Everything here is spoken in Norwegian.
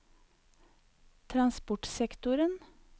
transportsektoren